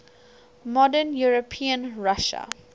modern european russia